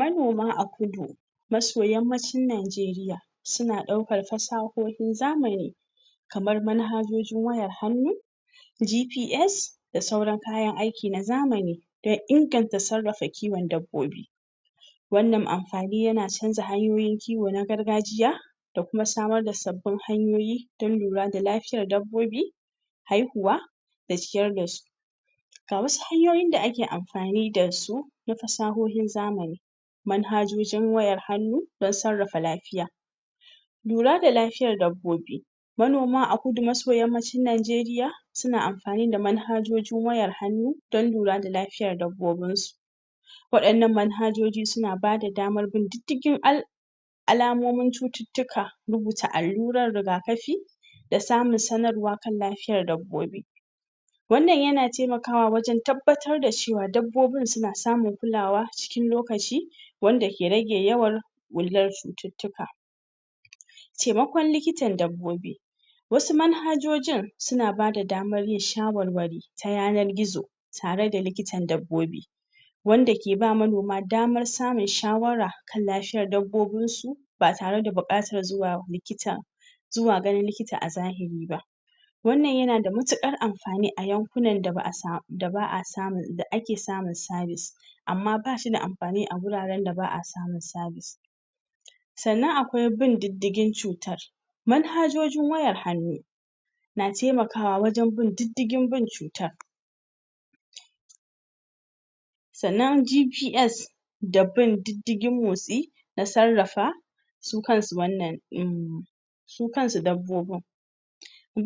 Manoma a Kudu maso yammacin Najeriya suna ɗaukar fasahohin zamani kamar manhajojin wayar hannu GPS da sauran kayan aiki na zamani. Don inganta sarrafa kiwon dabbobi. Wannnan amfani yana canja hanyoyin kiwo na gargajiy da kuma samar da sabbin hanyoyi don lura da lafiyar dabbobi. haihuwa da ciyar da su. Ga wasu hanyoyin da ake amfani da su na fasahohin zamani manhajojin wayar hannu don sarrafa lafiya. Lura da lafiyar dabbobi, Manoma a Kudu maso yammacin Najeriya suna amfani da manhajojin wayar hannu don lura da lafiyar dabbobinsu. Waɗannan manhajoji suna ba da damar bin diddigin al' alamomin cututtuka rubuta allurar riga kafi da samun sanarwa kan lafiyar dabbobi. wannan yana taimakawa wajen tabbatara da cewa dabbobin suna samun kulawa kan lokaci wanda ke rage yawan ɓullar cututtuka Taimakon likitan dabbobi wasu manhajojin suna bada damar yin shawarwari ta yanar gizo, tare da likitan dabbobi. wanda ke ba manoma damar samun shawara kan lafiyar dabbobinsu, ba tare da buƙatar zuwa likita zuwa ganin likita a zahiri ba. Wannan yana da matuƙar amfani a yankunan da ake samun sabis. amma ba shi da amfani a guraren da ba samun sabis. sannan akwai bin diddigin cutar manhajojin wayar hannu na taimakawa wajen bin diddigin bin cutar sannan GPS da bin diddigin motsi na sarrafa su kansu wannan um, su kansu dabbobin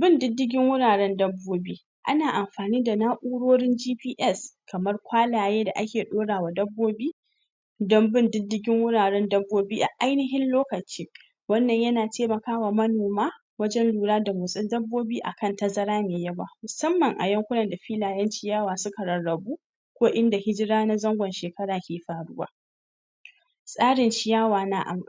bin diddigin wuraren dabbobi ana amfani da na'urorin GPS kamar kwalaye da ake ɗaura wa dabbobi don bin diddigin wurwren dabbobi a ainihin lokaci wannan yana taimaka wa manoma wajen lura da motsin dabbobi a kan tazara mai yawa, musamman a yankunan da filayen ciyawa suka rarrabu ko inda hijira na zangon shekara ke faruwa tsarin ciyawa na am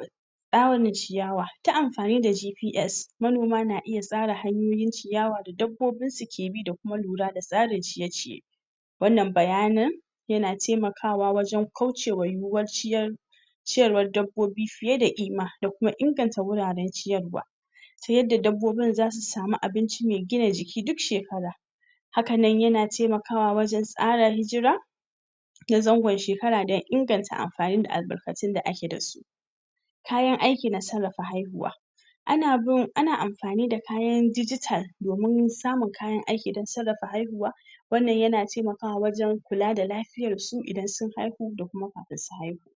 tsarin ciyawa, ta amfani da GPS manoma na iya tsara hanyoyin ciyawa da dabbobinsu ke bi da kuma lura da tsarin ciye-ciye. wannan bayanin yana taimakawa wajen kaucewa yiwuwar ciyar ciyarwar dabbobi fiye da ƙima da kuma inganta wuraren ciyarwa. ta yadda dabbobin za su samu abinci mai gina jiki duk shekara haka nan yana taimakwa wajen tsara hijira ta zangon shekara don inganta amfani da albarkatun da ake da su. Kayan aiki na sarrafa haihuwa, ana amfani da kayan digital domin samun kayan aiki don sarrafa haihuwa wannan yana taimakawa wajen kula da lafiyar su idan sun haihu da kuma kafin su haihu.